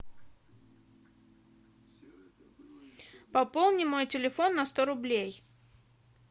пополни мой телефон на сто рублей